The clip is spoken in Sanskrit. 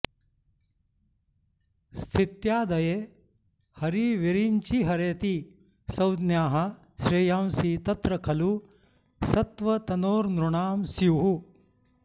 स्थित्यादये हरिविरिञ्चिहरेति संज्ञाः श्रेयांसि तत्र खलु सत्त्वतनोर्नृणां स्युः